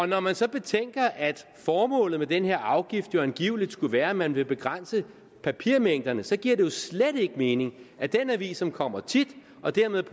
når man så betænker at formålet med den her afgift jo angiveligt skulle være at man vil begrænse papirmængderne så giver det jo slet ikke mening at den avis som kommer tit og dermed